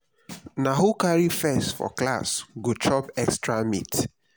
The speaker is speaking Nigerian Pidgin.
na who carry first for class go chop extra meat.